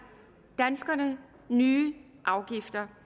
danskerne nye afgifter